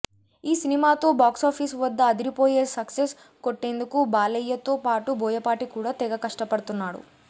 ఈ సినిమాతో బాక్సాఫీస్ వద్ద అదిరిపోయే సక్సెస్ కొట్టేందుకు బాలయ్యతో పాటు బోయపాటి కూడా తెగ కష్టపడుతున్నాడు